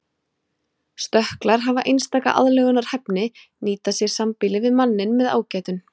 Stökklar hafa einstaka aðlögunarhæfni nýta sér sambýli við manninn með ágætum.